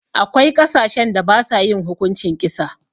Akwai ƙasashen da basa yin hukuncin kisa.